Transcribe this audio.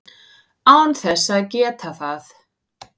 án þess að geta það.